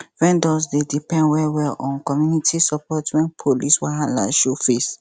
vendors dey depend wellwell on community support when police wahala show face